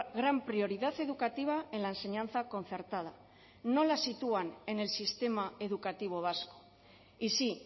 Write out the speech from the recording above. gran prioridad educativa en la enseñanza concertada no la sitúan en el sistema educativo vasco y sí